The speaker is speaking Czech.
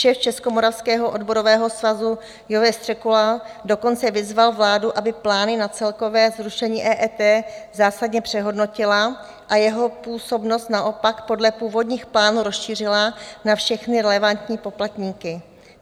Šéf Českomoravského odborového svazu Josef Středula dokonce vyzval vládu, aby plány na celkové zrušení EET zásadně přehodnotila a jeho působnost naopak podle původních plánů rozšířila na všechny relevantní poplatníky.